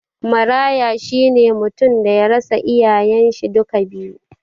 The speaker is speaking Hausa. Maraya shine mutum daya rasa iyayen shi duka biyu